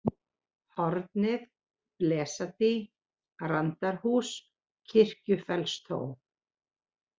Hornið, Blesadý, Randarhús, Kirkjufellstó